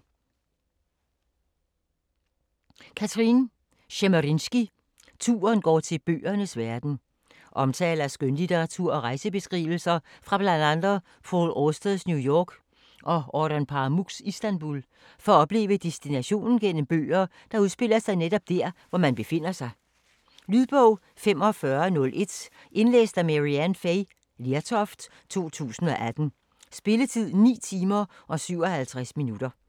Tschemerinsky, Kathrine: Turen går til bøgernes verden Omtaler af skønlitteratur og rejsebeskrivelser fra bl.a Paul Austers New York og Orhan Pamuks Istanbul, for at opleve destinationen gennem bøger, der udspiller sig netop dér, hvor man befinder sig. Lydbog 45101 Indlæst af Maryann Fay Lertoft, 2018. Spilletid: 9 timer, 57 minutter.